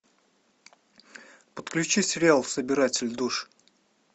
подключи сериал собиратель душ